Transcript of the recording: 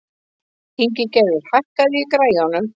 Ingigerður, hækkaðu í græjunum.